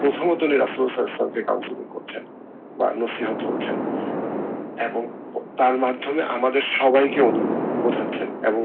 প্রথমত সালাউল ইসলাম কে counseling করছেন এবং তার মাধ্যমে আমাদের সবাইকে বোঝাচ্ছেন এবং